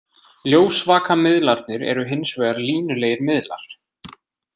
Ljósvakamiðlarnir eru hins vegar línulegir miðlar.